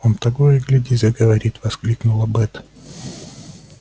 он того и гляди заговорит воскликнула бэт